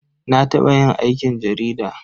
Na taɓa yin aikin jarida.